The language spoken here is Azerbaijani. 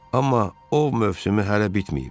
Amma o mövsümü hələ bitməyib.